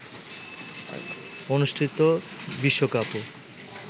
অনুষ্ঠিত বিশ্বকাপও